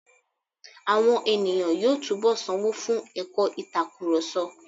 Àwọn ènìyàn yóò túnbọ̀ sanwó fún ẹ̀kọ́ ìtakurọ̀sọ.